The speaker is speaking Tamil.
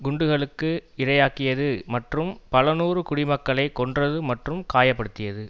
குண்டுகளுக்கு இரையாக்கியது மற்றும் பலநூறு குடிமக்களை கொன்றது மற்றும் காய படுத்தியது